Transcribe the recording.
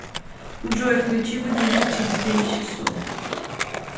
джой включи будильник через девять часов